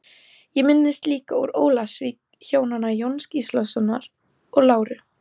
Ég minnist líka úr Ólafsvík hjónanna Jóns Gíslasonar og Láru